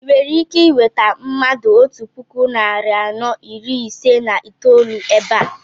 I nwere ike I nweta mmadụ otú puku narị anọ iri ise na itolu ébé a?